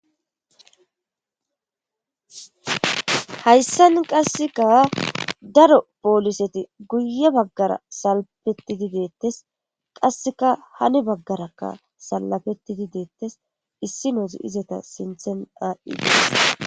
Hayssan qasseka daro pooliseti guye baggara salpettidi deettes qasseka hane baggarakka salafettidi deettes issi noosi izeta sinthen a7ides